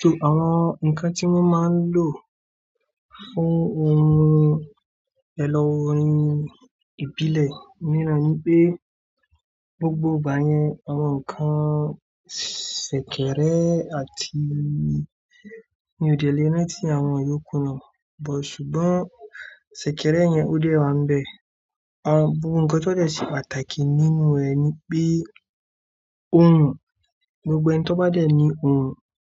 So àwọn ǹkan tí wọ́n máa ń lò fún ohun èlò orin ìbílẹ̀ mìíràn ni pé gbogbo ìgbà yẹn àwọn ǹkan ṣẹ̀kẹ̀rẹ̀ àti mi ò dé lè rántí àwọn yó kù náà but ṣùgbọ́n ṣẹ̀kẹ̀rẹ̀ yẹn ó dé wá ń bẹ. Àwọn ohun kan tó dẹ̀ ṣe pàtàkì nínú ẹ̀ ni pé ohùn, gbogbo ẹni tó bá dẹ̀ ní ohùn,